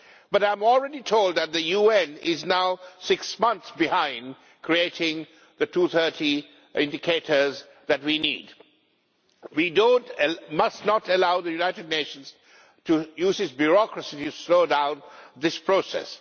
But I am already told that the UN is now six months behind creating the 230 indicators that we need. We must not allow the United Nations to use its bureaucracy to slow down this process.